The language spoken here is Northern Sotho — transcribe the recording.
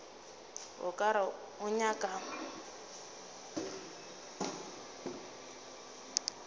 o ka re o ngaka